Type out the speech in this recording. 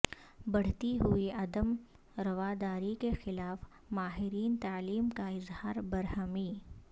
بڑھتی ہوئی عدم رواداری کے خلاف ماہرین تعلیم کا اظہار برہمی